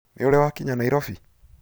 Nĩũrĩ wakinya Nairobi?